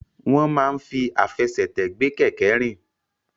Wọ́n máa ń fi àfẹsẹ̀tẹ̀ gbé kẹ̀kẹ́ rìn.